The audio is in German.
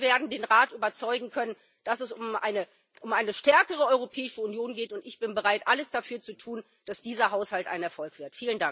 Ich hoffe, wir werden den Rat überzeugen können, dass es um eine stärkere Europäische Union geht, und ich bin bereit, alles dafür zu tun, dass dieser Haushalt ein Erfolg wird.